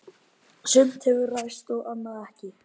Sumt hefur ræst og annað ekki.